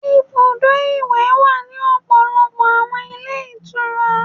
Ibùdó ìwẹ̀ wà ní ọ̀pọ̀lọpọ̀ àwọn ilé ìtura.